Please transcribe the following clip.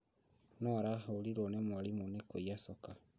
Nũũ ũrahũrirwo nĩ mwarimũ nĩ kũiya coka?